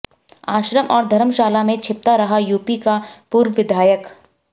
आश्रम और धर्मशाला में छिपता रहा यूपी का पूर्व विधायक